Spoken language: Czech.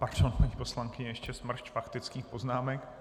Pardon, paní poslankyně, ještě smršť faktických poznámek.